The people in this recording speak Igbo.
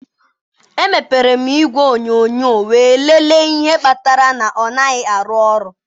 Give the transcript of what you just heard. Emepere m igwe onyonyo wee lelee ihe kpatara na ọ naghị arụ ọrụ.